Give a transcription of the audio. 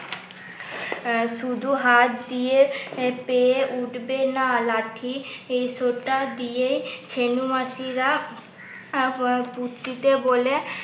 শুধু হাত দিয়ে পেয়ে উঠবে না লাঠি এই সোঁটা দিয়েই ছেনু মাসিরা বলে